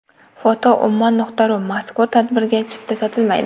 foto: ummon.ru Mazkur tadbirga chipta sotilmaydi!